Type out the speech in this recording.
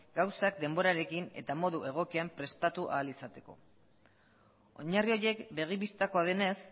gauzak denborarekin eta modu egokian prestatu ahal izateko oinarri horiek begi bistakoa denez